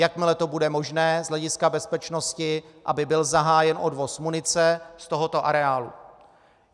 Jakmile to bude možné z hlediska bezpečnosti, aby byl zahájen odvoz munice z tohoto areálu.